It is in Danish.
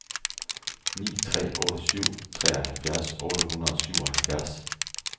ni tre otte syv treoghalvfjerds otte hundrede og syvoghalvfjerds